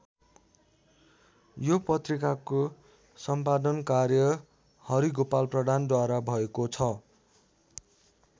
यो पत्रिकाको सम्पादन कार्य हरिगोपाल प्रधानद्वारा भएको छ।